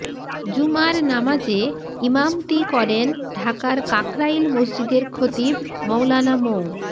জুমার নামাজে ইমামতি করেন ঢাকার কাকরাইল মসজিদের খতিব মওলানা মো